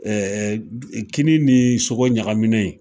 Ɛɛ kini ni sogo ɲagamunen